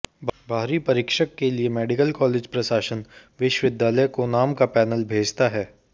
बाहरी परीक्षक के लिए मेडिकल कॉलेज प्रशासन विश्वविद्यालय को नाम का पैनल भेजता है